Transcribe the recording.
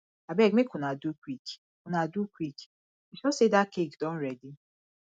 abeg make una do quick una do quick you sure say dat cake don ready